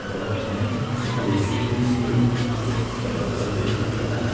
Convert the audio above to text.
Ela gosta muito de psicologia de para tratar de pessoa de idade.